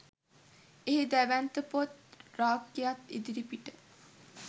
එහි දැවැන්ත පොත් රාක්කයක් ඉදිරිපිට